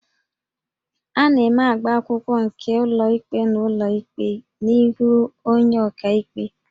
A na-eme agbaakwụkwọ nke ụlọikpe n'ụlọikpe n'ihu onye ọkaikpe